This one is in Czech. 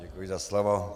Děkuji za slovo.